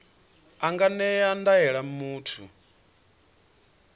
a nga ṅea ndaela muthu